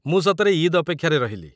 ମୁଁ ସତରେ ଇଦ୍‌ ଅପେକ୍ଷାରେ ରହିଲି ।